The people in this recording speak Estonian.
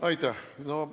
Aitäh!